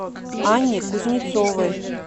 анне кузнецовой